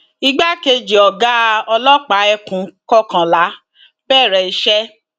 igbákejì ọgá ọlọpàá ekun kọkànlá bẹrẹ iṣẹ